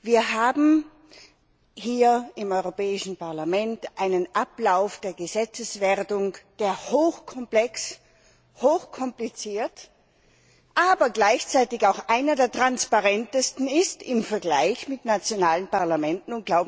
Wir haben hier im Europäischen Parlament einen Ablauf der Gesetzeswertung, der hochkomplex, hochkompliziert, aber gleichzeitig auch einer der transparentesten ist im Vergleich mit nationalen Parlamenten.